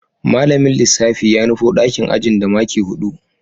Malamin lissafi ya nufo dakin ajin da maki hudu